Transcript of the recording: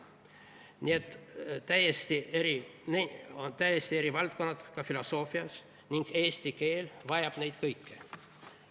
Nii et need on täiesti eri valdkonnad ka filosoofias ning eesti keel vajab neid kõiki.